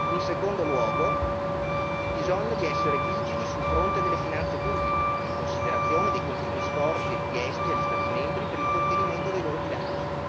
In secondo luogo, il bisogno di essere vigili sul fronte delle finanze pubbliche, in considerazione dei continui sforzi richiesti agli Stati membri per il contenimento dei loro bilanci.